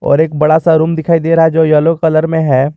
और एक बड़ा सा रूम दिखाई दे रहा जो येलो कलर में है।